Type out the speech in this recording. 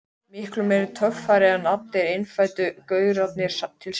Miklu meiri töffari en allir innfæddu gaurarnir til samans.